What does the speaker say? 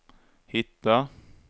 hitta